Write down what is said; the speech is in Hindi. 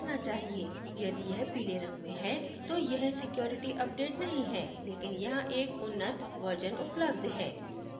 यदि यह पीले रंग में है तो यह security update नहीं है लेकिन यहाँ एक उन्नत version उपलब्ध है